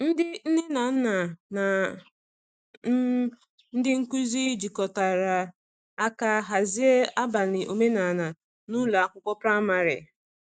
Ndị nne na nna na um ndị nkuzi jikọtara aka hazie abalị omenala n’ụlọ akwụkwọ praịmarị.